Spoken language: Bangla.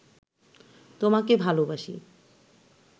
তোমাকে ভালোবাসি